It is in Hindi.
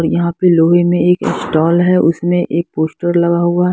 और यहां पे लोहे में एक स्टॉल हैउसमें एक पोस्टर लगा हुआ--